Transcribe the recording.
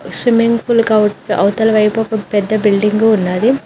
Swimming pool కి అవతల వైపు ఒక పెద్ద బిల్డింగు ఉన్నాది.